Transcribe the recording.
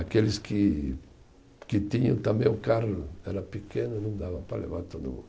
Aqueles que que tinham, também o carro, era pequeno, não dava para levar todo mundo.